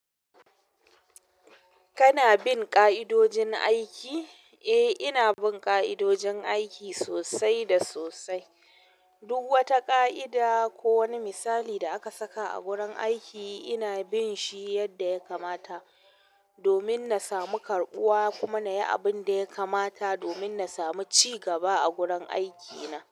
Kana bin ƙa'idojin aiki? Eh, ina bin ƙa'idojin aiki sosai da sosai. Duk wata ƙa'ida ko wani misalin da aka saka a gurin aiki ina bin shi yadda ya kamata domin na samu karɓuwa kuma na yi abun da ya kamata domin na samu ci gaba a gurin aikina.